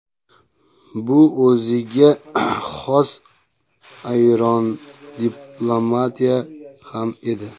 Bu o‘ziga xos ayyorona diplomatiya ham edi.